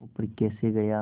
वह ऊपर कैसे गया